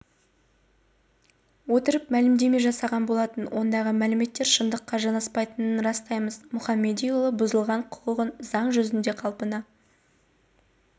отырып мәлімдеме жасаған болатын ондағы мәліметтер шындыққа жанаспайтынын растаймыз мұхамедиұлы бұзылған құқығын заң жүзінде қалпына